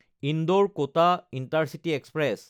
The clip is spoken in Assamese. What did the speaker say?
ইন্দোৰ–কটা ইণ্টাৰচিটি এক্সপ্ৰেছ